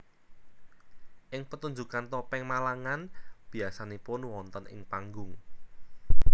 Ing petunjukan Topeng Malangan biasanipun wonten ing panggung